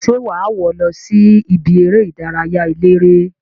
Se waa wo losi ibi ere idaraya elere?